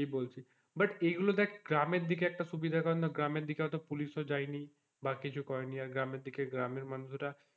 এই বলছি but এই গুলো দেখে গ্রামের দিকে একটা সুবিধা কারণ গ্রামের দিকে হয়তো পুলিশ ও যায়নি বা কিছু করেনি আর গ্রামের দিকে গ্রামের মানুষরা,